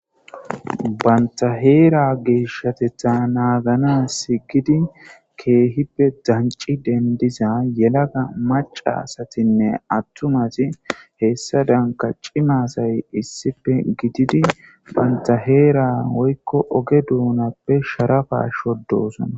Banta Hera geshatetha naganasi gidi issipetethan dancing dendiza maca asatinne atuma asati hesadamka cima asay issipe gididi banta Heera woyko oge donape sharapa shodosona